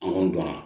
An kɔni donna